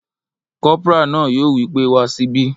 Kọ́pórà náà yóò wí pé wá síbí!